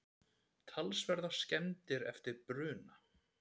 Talsverðar skemmdir eftir bruna